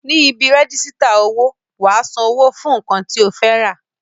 Ní ibi rẹ́jísítà owó, wà á san owó fún nǹkan tí o fẹ́ rà